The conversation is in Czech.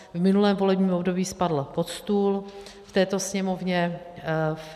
V minulém volebním období spadl pod stůl v této Sněmovně.